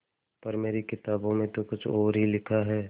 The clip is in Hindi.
पर मेरी किताबों में तो कुछ और ही लिखा है